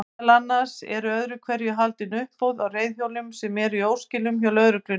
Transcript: Meðal annars eru öðru hverju haldin uppboð á reiðhjólum sem eru í óskilum hjá lögreglunni.